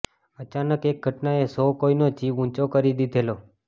અચાનક એક ઘટનાએ સૌ કોઈનો જીવ ઊંચો કરી દીધેલો